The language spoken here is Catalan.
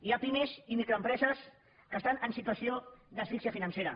hi ha pimes i microempreses que estan en situació d’as fíxia financera